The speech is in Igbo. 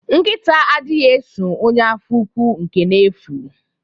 Nkita adighi eso ọnye afọ úkwù nke n'efu.